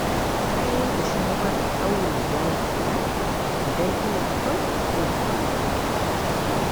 Na yanke shawarar ɗaure gashi na idan ina son jin sauƙi.